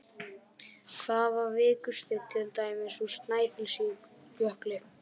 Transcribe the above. Hvað er vikursteinn, til dæmis úr Snæfellsjökli?